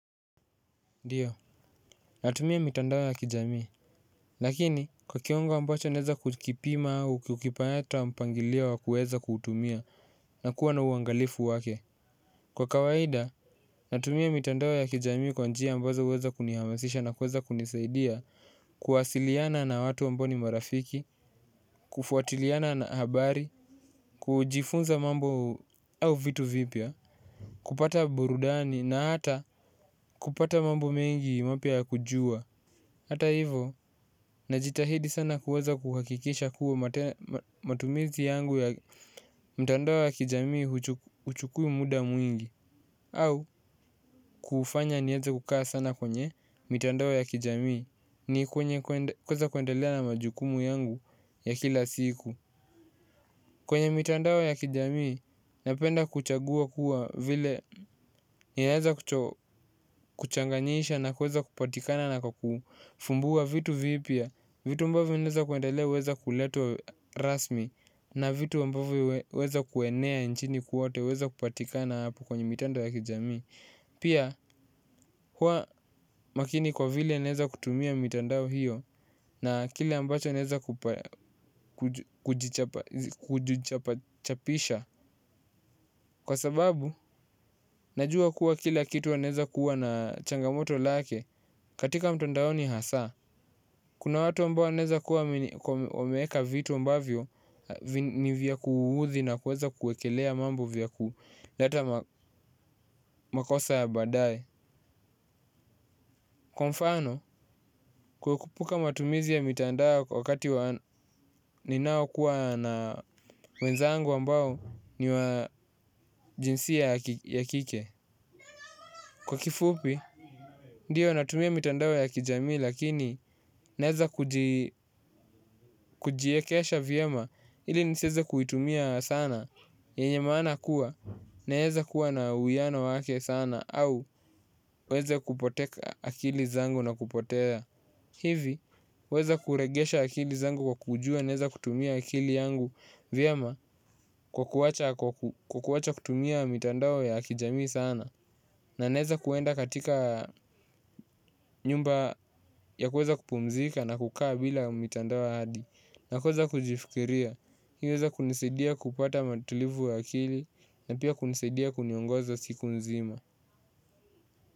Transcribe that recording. Ndiyo, natumia mitandao ya kijamii. Lakini, kwa kiwango ambacho naweza kukipima au kukipa hata mpangilio wa kuweza kuutumia na kuwa na uangalifu wake. Kwa kawaida, natumia mitandao ya kijamii kwa njia ambazo huweza kunihamasisha na kuweza kunisaidia kuwasiliana na watu ambao ni marafiki, kufuatiliana na habari kujifunza mambo au vitu vipya kupata burudani na hata kupata mambo mengi mapya ya kujua hata hivyo, najitahidi sana kuweza kuhakikisha kuwa matumizi yangu ya mtandao wa kijamii huchukui muda mwingi au, kufanya niweza kukaa sana kwenye mitandao ya kijamii. Ni kwenye kuweza kuendelea na majukumu yangu ya kila siku. Kwenye mitandao ya kijamii, napenda kuchagua kuwa vile yaeza kuchanganyisha na kuweza kupatikana na kufumbua vitu vipya, vitu ambavyo vinaweza kuendelea huweza kuleta rasmi, na vitu mbavyo huweza kuenea nchini kote huweza kupatikana hapo kwenye mitandao ya kijamii. Pia, hua makini kwa vile naweza kutumia mitandao hiyo na kile ambacho naweza kujichapachapisha kwa sababu, najua kuwa kila kitu inaweza kuwa na changamoto lake katika mtandao ni hasa kuna watu ambao wanaweza kuwa omeka vitu ambavyo ni vya kuhuhuzi na kuweza kuekelea mambo vya kuhu lata makosa ya badaye kwa mfano, kuepuka matumizi ya mitandao kwa wakati ninao kuwa na wenzangu ambao niwa jinsi ya kike kwa kifupi, ndiyo natumia mitandao ya kijami lakini naweza kujiekesha vyema ili nisiweze kuitumia sana yenye maana kuwa naweza kuwa na uwiano wake sana au niweze kupoteka akili zangu na kupotea hivi, huweza kuregesha akili zangu kwa kujua naweza kutumia akili yangu vyema kwa kuacha kutumia mitandao ya kijamii sana na naweza kwenda katika nyumba ya kuweza kupumzika na kukaa bila mitandao hadi na kuweza kujifikiria, hii uweza kunisidia kupata utulivu wa akili na pia kunisidia kuniongoza siku nzima.